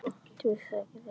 Þú sagðir það.